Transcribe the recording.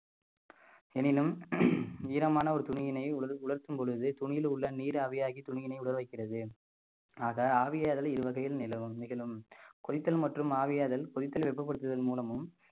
எனினும் ஈரமான ஒரு துணியினை உல~ உலர்த்தும் பொழுது துணியில் உள்ள நீர் ஆவியாகி துணியினை உலர வைக்கிறது ஆக ஆவியாதலை இருவகையில் நிலவும் நிகழும் கொதித்தல் மற்றும் ஆவியாதல் கொதித்தல் வெப்பப்படுத்துவதன் மூலமும்